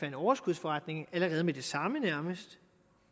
en overskudsforretning allerede med det samme nærmest